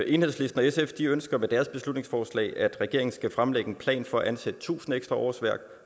enhedslisten og sf ønsker med deres beslutningsforslag at regeringen skal fremlægge en plan for at ansætte tusind ekstra årsværk